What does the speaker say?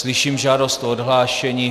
Slyším žádost o odhlášení.